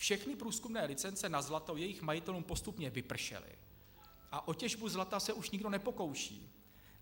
Všechny průzkumné licence na zlato jejich majitelům postupně vypršely a o těžbu zlata se už nikdo nepokouší.